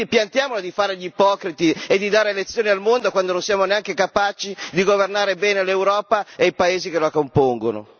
Quindi piantiamola di fare gli ipocriti e di dare lezioni al mondo quando non siamo neanche capaci di governare bene l'Europa e i Paesi che la compongono.